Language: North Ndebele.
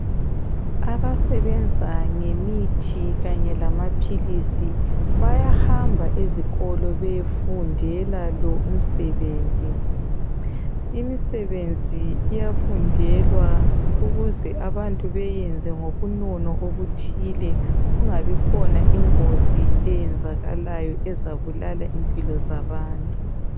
Abasebenza ngemithi Kanye lamaphilisi bayahamba ezikolo beyefundela lo umsebenzi , imisebenzi iyafundelwa ukuze abantu beyenze ngobunono obuthile kungabikhona ingozi eyenzakalayo ezabulala impilo zabantu